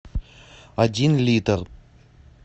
один литр